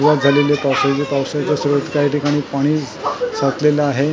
काही ठिकाणी पाणी साठलेलं आहे.